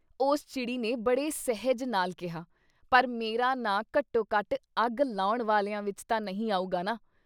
” ਉਸ ਚਿੜੀ ਨੇ ਬੜੇ ਸਹਿਜ ਨਾਲ ਕਿਹਾ- ਪਰ ਮੇਰਾ ਨਾਂ ਘੱਟੋ ਘੱਟ ਅੱਗ ਲਾਉਣ ਵਾਲਿਆਂ ਵਿੱਚ ਤਾਂ ਨਹੀਂ ਆਊਗਾ ਨਾ।